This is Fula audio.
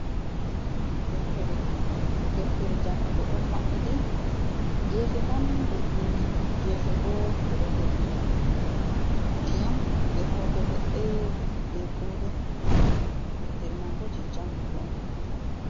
Deftere jangugo don mabbiti gefe man be bindi gefe bo be do holli diyam, be hoto ledde, be kode. Deftere man bo je jangugo on.